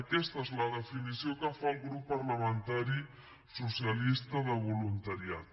aquesta és la definició que fa el grup parlamentari socialista de voluntariat